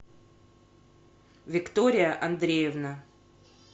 виктория андреевна